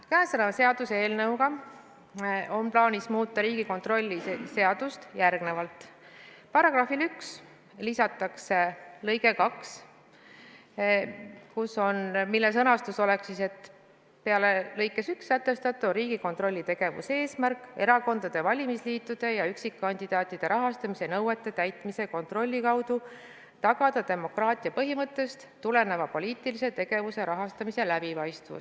Käesoleva seaduseelnõuga on paanis muuta Riigikontrolli seadust järgmiselt: §-le 3 lisatakse lõige 2, mille sõnastus oleks siis, et peale lõikes 1 sätestatu on Riigikontrolli tegevuse eesmärk erakondade, valimisliitude ja üksikkandidaatide rahastamise nõuete täitmise kontrolli kaudu tagada demokraatia põhimõttest tuleneva poliitilise tegevuse rahastamise läbipaistvus.